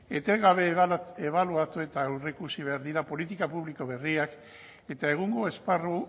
etengabe ebaluatu eta aurreikusi behar dira politika publiko berriak eta egungo esparru